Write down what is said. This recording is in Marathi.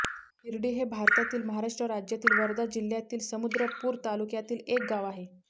हिरडी हे भारतातील महाराष्ट्र राज्यातील वर्धा जिल्ह्यातील समुद्रपूर तालुक्यातील एक गाव आहे